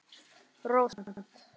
Rósant